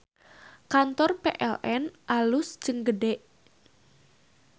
Kantor PLN alus jeung gede